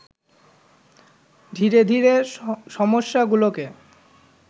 ধীরে ধীরে সমস্যাগুলোকে